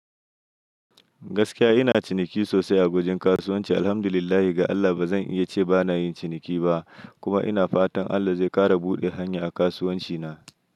Gaskiya ina ciniki sosai a wajen kasuwanci. Alhamdulillahi ga Allah ba zan iya ce ba na yin ciniki ba, kuma ina fatan Allah zai ƙara buɗe hanya a kasuwanci na.